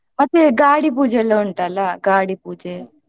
ಮತ್ತೆ ಗಾಡಿ ಪೂಜೆ ಎಲ್ಲಾ ಉಂಟಲ್ಲ ಗಾಡಿ ಪೂಜೆ.